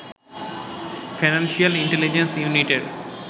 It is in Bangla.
ফাইন্যান্সিয়াল ইন্টেলিজেন্স ইউনিটের